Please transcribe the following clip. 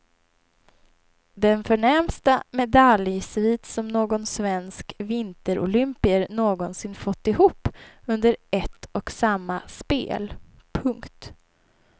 Den förnämsta medaljsvit som någon svensk vinterolympier någonsin fått ihop under ett och samma spel. punkt